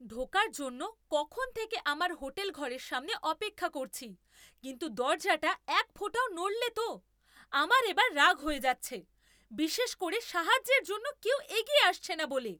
ঢোকার জন্য কখন থেকে আমার হোটেল ঘরের সামনে অপেক্ষা করছি, কিন্তু দরজাটা একফোঁটাও নড়লে তো! আমার এবার রাগ হয়ে যাচ্ছে, বিশেষ করে সাহায্যের জন্য কেউ এগিয়ে আসছে না বলে।